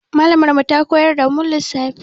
Mallamar mu ta koyar da mu lissafi.